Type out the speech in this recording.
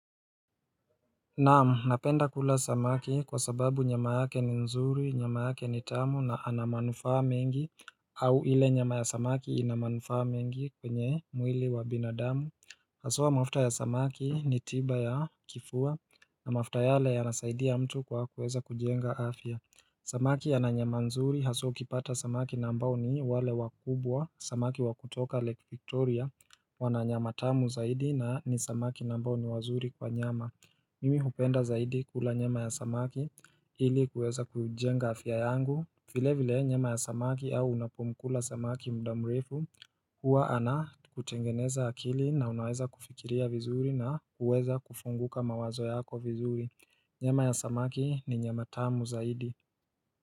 Naam, napenda kula samaki kwa sababu nyama yake ni nzuri, nyama yake ni tamu na anamanufaa mengi au ile nyama ya samaki inamanufaa mengi kwenye mwili wa binadamu Haswa mafuta ya samaki ni tiba ya kifua na mafuta yale yana saidia mtu kwa kuweza kujenga afya Samaki ananyama nzuri haswa ukipata samaki ambao ni wale wakubwa, samaki wakutoka lake Victoria Wananyama tamu zaidi na ni samaki ambao ni wazuri kwa nyama Mimi hupenda zaidi kula nyama ya samaki hili kuweza kujenga afya yangu vile vile nyama ya samaki au unapomkula samaki mdamrefu Huwa ana kutengeneza akili na unaweza kufikiria vizuri na kuweza kufunguka mawazo yako vizuri Nyama ya samaki ni nyama tamu zaidi.